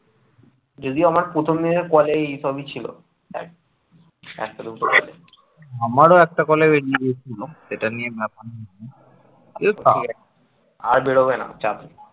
আর বেরোবে না চাপ নেই